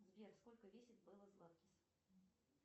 сбер сколько весит белла златкис